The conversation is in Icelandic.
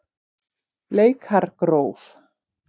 Bleikargróf